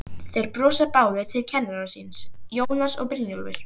Og þeir brosa báðir til kennara síns, Jónas og Brynjólfur.